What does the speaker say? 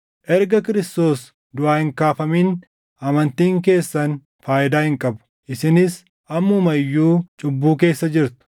Erga Kiristoos duʼaa hin kaafamin amantiin keessan faayidaa hin qabu; isinis ammuma iyyuu cubbuu keessa jirtu.